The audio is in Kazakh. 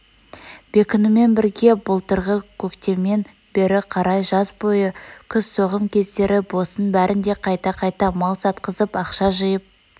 бекінумен бірге былтырғы көктемнен бері қарай жаз бойы күз соғым кездері босын бәрнде қайта-қайта мал сатқызып ақша жиып